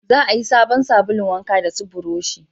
Za a yi sabon sabulun wanka da su burosh